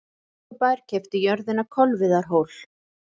Reykjavíkurbær keypti jörðina Kolviðarhól.